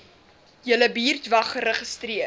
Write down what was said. julle buurtwag geregistreer